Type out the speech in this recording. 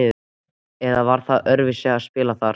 eða var það öðruvísi að spila þar?